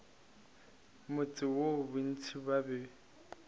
motse woo bontši ba be